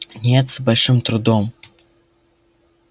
нет с большим трудом